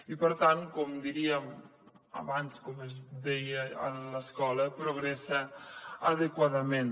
i per tant com diríem abans com es deia a l’escola progressa adequadament